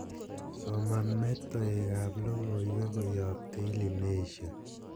soman metoek ab logoiwek koyop daily nation